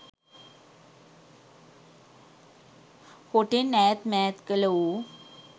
හොටෙන් ඈත් මෑත් කළ ඌ